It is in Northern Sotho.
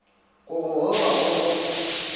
go go roga go go